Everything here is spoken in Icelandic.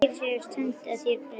Þeir segjast senda þér bréfin.